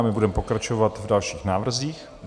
A my budeme pokračovat v dalších návrzích.